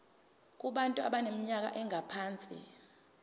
kubantu abaneminyaka engaphansi